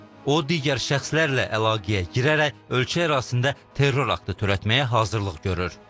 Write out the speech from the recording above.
O, digər şəxslərlə əlaqəyə girərək ölkə ərazisində terror aktı törətməyə hazırlıq görür.